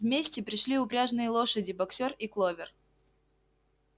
вместе пришли упряжные лошади боксёр и кловер